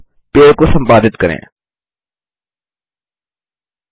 अब पेड़ को संपादित एडिट करें